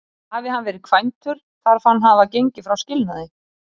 Hafi hann verið kvæntur, þarf hann að hafa gengið frá skilnaði.